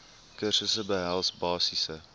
kursusse behels basiese